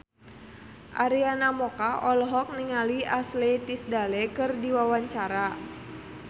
Arina Mocca olohok ningali Ashley Tisdale keur diwawancara